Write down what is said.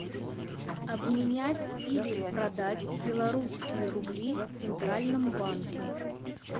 обменять или продать белорусские рубли в центральном банке